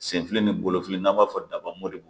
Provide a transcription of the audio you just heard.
Senfili ni bolofili n'an b'a fɔ dabamori.